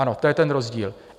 Ano, to je ten rozdíl.